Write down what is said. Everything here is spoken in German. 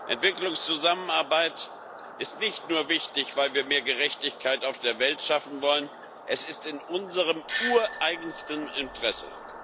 Entwicklungszusammenarbeit ist nicht nur wichtig, weil wir mehr Gerechtigkeit auf der Welt schaffen wollen, sie ist in unserem ureigensten Interesse.